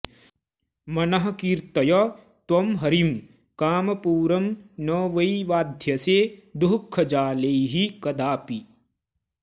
मनः कीर्तय त्वं हरिं कामपूरं न वै बाध्यसे दुःखजालैः कदापि